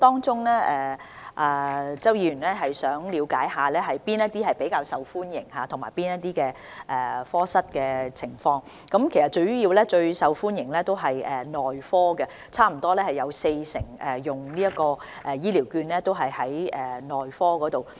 周議員想了解哪些是較受歡迎的服務及科室的情況，其實最受歡迎的主要是內科，差不多有四成醫療券用於內科服務。